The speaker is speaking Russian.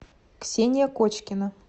ксения кочкина